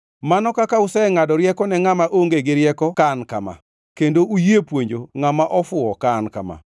Mano kaka usengʼado rieko ne ngʼama onge gi rieko ka an kama, kendo uyie puonjo ngʼama ofuwo ka an kama!